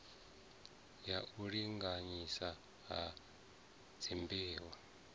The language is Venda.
ya u linganyiswa ha dzimbeu